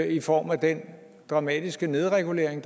i form af den dramatiske nedregulering af